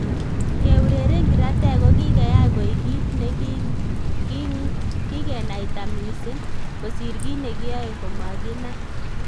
Keureren kiratek kogikeyai koik kit ne kigenaita mising, kosir kit ne kiyoe komaginai.